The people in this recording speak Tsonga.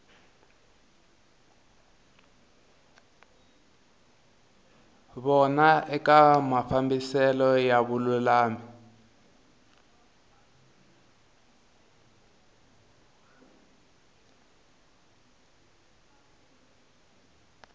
vona eka mafambiselo ya vululami